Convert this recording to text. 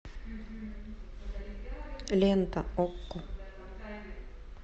лента окко